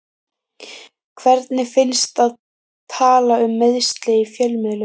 Hvernig finnst að tala um meiðsli í fjölmiðlum?